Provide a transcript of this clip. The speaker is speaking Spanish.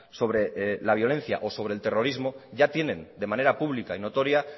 sobre la violencia o sobre el terrorismo ya tienen de manera pública y notoria